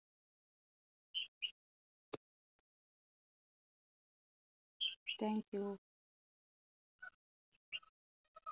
thank you.